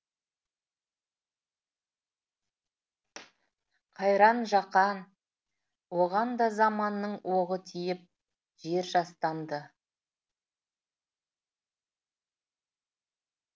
қайран жақан оған да заманның оғы тиіп жер жастанды